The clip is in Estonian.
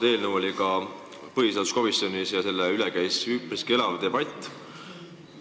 See eelnõu oli ka põhiseaduskomisjonis ja selle üle käis üpriski elav debatt.